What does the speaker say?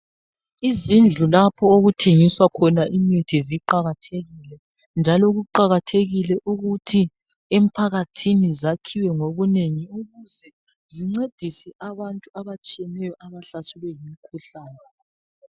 Izindlu lapho okuthengiswa khona imithi ziqakathekile njalo kuqakathekile ukuthi emphakathini zakhiwe ngobunengi ukuze zincedise abantu abatshiyeneyo abahlaselwe yimikhuhlane.